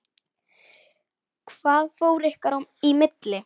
Hvað fór ykkar í milli?